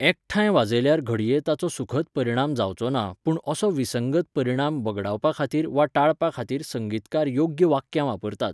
एकठांय वाजयल्यार घडये ताचो सुखद परिणाम जावचो ना, पूण असो विसंगत परिणाम वगडावपा खातीर वा टाळपा खातीर संगीतकार योग्य वाक्यां वापरतात.